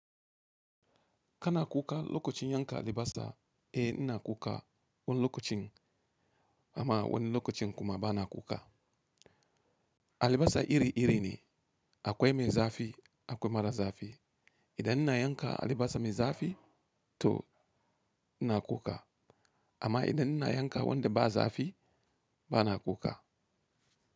Kana kuka lokacin yanka alibasa, eh ina kuka wani lokacin amma wani lokacin kuma bana kuka. Alibasa iri iri ne, akwai mai zafi akwai mara zafi. Idan ina yanka alibasa mai zafi to ina kuka amma idan ina yanka wanda ba zafi bana kuka.